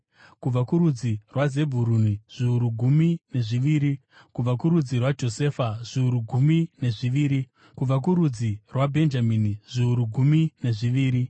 kubva kurudzi rwaZebhuruni, zviuru gumi nezviviri, kubva kurudzi rwaJosefa zviuru gumi nezviviri, kubva kurudzi rwaBhenjamini zviuru gumi nezviviri.